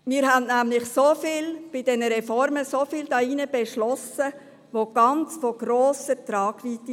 Wir haben nämlich hier drin bei diesen Reformen sehr vieles beschlossen, das von sehr grosser Tragweite ist.